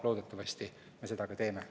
Loodetavasti me seda ka teeme.